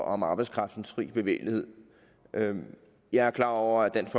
om arbejdskraftens fri bevægelighed jeg er klar over at dansk